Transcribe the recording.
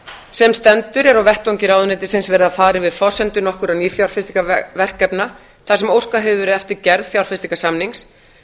sem stendur er á vettvangi ráðuneytisins verið að fara yfir forsendur nokkurra nýfjárfestingarverkefna þar sem óskað hefur verið eftir gerð fjárfestingarsamnings